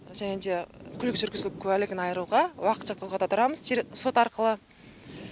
және де көлік жүргізу куәлігін айыруға уақытша тоқтата тұрамыз сот арқылы